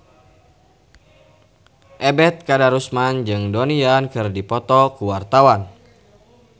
Ebet Kadarusman jeung Donnie Yan keur dipoto ku wartawan